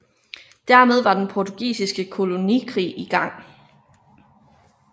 Dermed var den portugisiske kolonikrig i gang